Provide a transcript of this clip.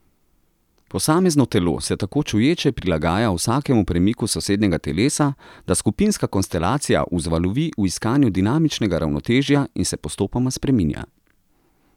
Posamezno telo se tako čuječe prilagaja vsakemu premiku sosednjega telesa, da skupinska konstelacija vzvalovi v iskanju dinamičnega ravnotežja in se postopoma spreminja.